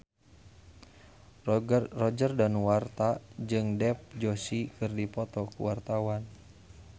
Roger Danuarta jeung Dev Joshi keur dipoto ku wartawan